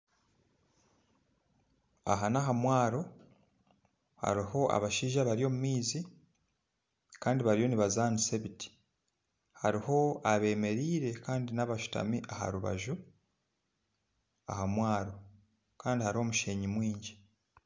Aha naha mwaaro hariho abashaija abari omu maizi kandi bariyo nibazaanisa ebiti hariho ebemereire kandi nabashuutami aharubaju aha mwaaro kandi hariho omushenyi mwingi.